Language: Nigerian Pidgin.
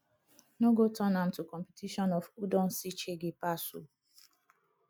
no go turn am to competition of who don see shege pass o